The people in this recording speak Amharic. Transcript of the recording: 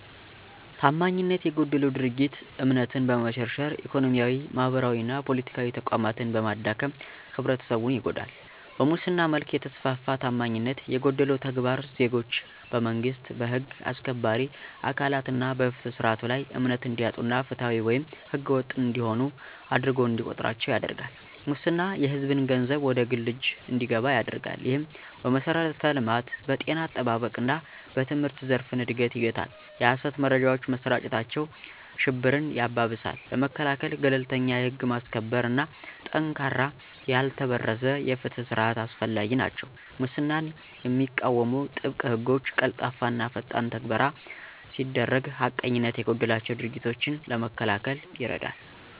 ታማኝነት የጎደለው ድርጊት እምነትን በመሸርሸር፣ ኢኮኖሚያዊ፣ ማህበራዊና ፖለቲካዊ ተቋማትን በማዳከም ህብረተሰቡን ይጎዳል። በሙስና መልክ የተስፋፋ ታማኝነት የጎደለው ተግባር ዜጎች በመንግስት፣ በህግ አስከባሪ አካላት እና በፍትህ ስርዓቱ ላይ እምነት እንዲያጡ እና ፍትሃዊ ወይም ህገወጥ እንደሆኑ አድርጎ እንዲቆጥራቸው ያደርጋል። ሙስና የሕዝብን ገንዘብ ወደ ግል እጅ እንዲገባ ያደርጋል፣ ይህም በመሠረተ ልማት፣ በጤና አጠባበቅ እና በትምህርት ዘርፍን እድገት ይገታል። የሀሰት መረጃዎች መሰራጨታቸው ሽብርን ያባብሳል። ለመከላከል - ገለልተኛ የህግ ማስከበር እና ጠንካራ ያልተበረዘ የፍትህ ስርዓት አስፈላጊ ናቸው። ሙስናን የሚቃወሙ ጥብቅ ሕጎች፣ ቀልጣፋና ፈጣን ትግበራ ሲደረግ ሐቀኝነት የጎደላቸው ድርጊቶችን ለመከላከል ይረዳል።